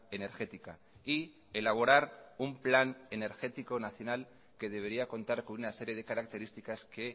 energética y elaborar un plan energético nacional que debería contar con una serie de características que